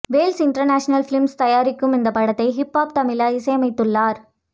Wells international films தயாரிக்கும் இந்த படத்தை ஹிப்ஹொப் தமிழா இசையமைத்துள்ளார்